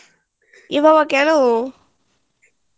যা বা বা কেন